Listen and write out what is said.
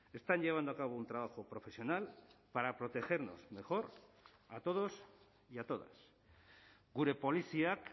están llevando a cabo un trabajo profesional para protegernos mejor a todos y a todas gure poliziak